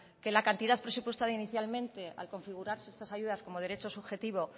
que la cantidad presupuestada inicialmente al configurarse esas ayudas como derecho subjetivo